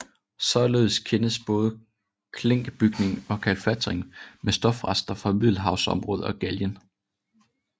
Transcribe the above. Således kendes både klinkbygning og kalfatring med stofrester fra Middelhavsområdet og Gallien